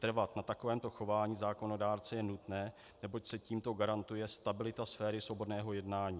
Trvat na takovémto chování zákonodárce je nutné, neboť se tímto garantuje stabilita sféry svobodného jednání.